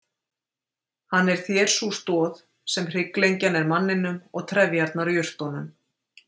Hann er þér sú stoð sem hrygglengjan er manninum og trefjarnar jurtunum.